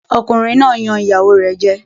Ọkùnrin náà yan ìyàwó rẹ̀ jẹ.